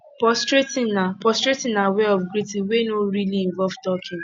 prostrating na prostrating na wey of greeting wey no really involve talking